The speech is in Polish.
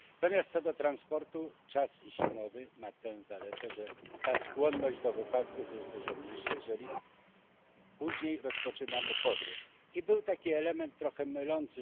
Natomiast co do transportu, czas zimowy ma tę zaletę, że skłonność do wypadków jest dużo mniejsza, jeżeli później rozpoczynamy podróż. I był tutaj element trochę mylący.